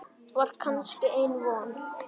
Var kannski enn von?